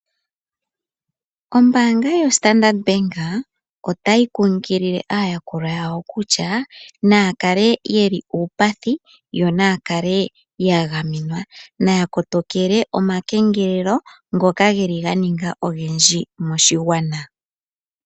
Ombaanga yo Standard bank otayi kunkilile aayakulwa yawo kutya naya kale yeli uupathi, yo naya kale ya gamenwa. Naya kotokele oma kengelelo ngoka geli ga ninga ogendji moshigwana.